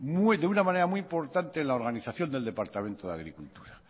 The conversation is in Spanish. de una manera muy importante en la organización del departamento de agricultura